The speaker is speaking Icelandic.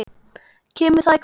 Kemur það í kvöld?